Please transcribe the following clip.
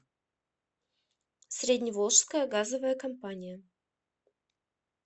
средневолжская газовая компания